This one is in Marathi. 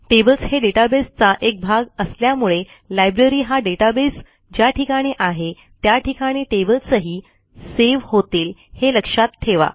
टेबल्स हे databaseचा एक भाग असल्यामुळे लायब्ररी हा डेटाबेस ज्या ठिकाणी आहे त्या ठिकाणी टेबल्सही सेव्ह होतील हे लक्षात ठेवा